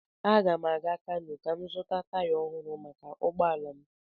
Aga m aga Kanu ka m zụta taya ọhụrụ maka ụgbọ ala m.